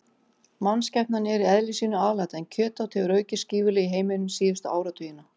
Mannskepnan er í eðli sínu alæta en kjötát hefur aukist gífurlega í heiminum síðustu áratugina.